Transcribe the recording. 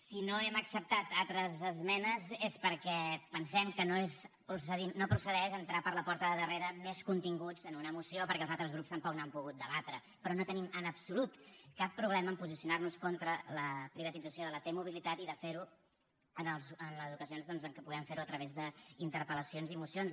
si no hem acceptat altres esmenes és perquè pensem que no procedeix entrar per la porta de darrere més continguts en una moció perquè els altres grups tampoc n’han pogut debatre però no tenim en absolut cap problema a posicionar nos contra la privatització de la t mobilitat i de fer ho en les ocasions doncs en què puguem fer ho a través d’interpel·lacions i mocions